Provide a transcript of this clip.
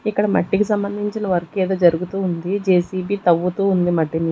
ఇక్కడ మట్టికి సంబంధించిన వర్క్ ఏదో జరుగుతూ ఉంది జే-సి-బి తవ్వుతూ ఉంది మట్టిని.